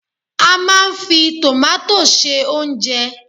A máa n fi tomato se oúnjẹ